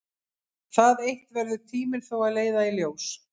Það eitt verður tíminn þó að leiða í ljós.